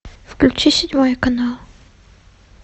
включи седьмой канал